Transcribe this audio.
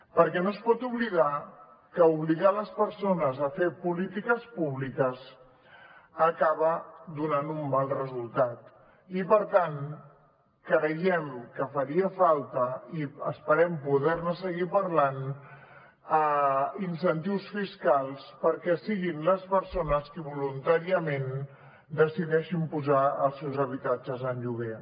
perquè no es pot oblidar que obligar les persones a fer polítiques públiques acaba donant un mal resultat i per tant creiem que farien falta i esperem poder ne seguir parlant incentius fiscals perquè siguin les persones qui voluntàriament decideixin posar els seus habitatges en lloguer